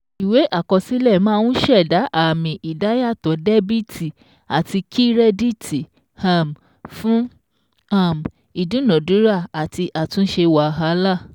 Ìwé àkọsílẹ̀ máa ń ṣẹ̀da àmì ìdá yàtò dẹ́bìtì àti kírẹ́dìtì um fún um ìdúnadúrà àti àtúnṣe wàhálà